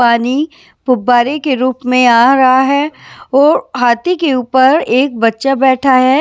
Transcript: पानी फुब्बारे के रूप में आ रहा है और हाथी के ऊपर एक बच्चा बैठा है।